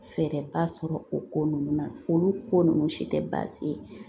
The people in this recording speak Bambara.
Fɛɛrɛba sɔrɔ o ko ninnu na olu ko ninnu si tɛ baasi ye